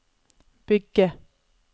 bygge